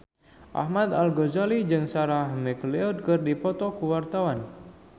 Ahmad Al-Ghazali jeung Sarah McLeod keur dipoto ku wartawan